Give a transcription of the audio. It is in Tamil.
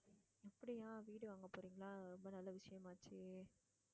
அப்படியா வீடு வாங்கப போறீங்களா ரொம்ப நல்ல விஷயமாச்சே